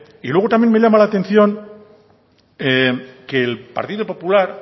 y luego también me llama la atención que el partido popular